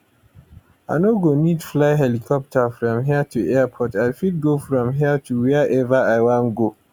i no go need to fly helicopter from here to airport i fit go from here to wiaever i wan go